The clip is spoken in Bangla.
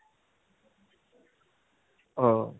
আহ